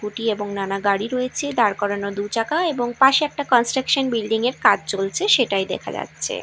Scooty এবং নানা গাড়ি রয়েছে দাঁড় করানো দু চাকা এবং পাশে একটা কনস্ট্রাকশন বিল্ডিং -এর কাজ চলছে সেটাই দেখা যাচ্ছে।